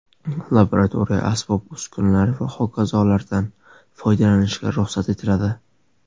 laboratoriya asbob-uskunalari va hokazolardan) foydalanishga ruxsat etiladi.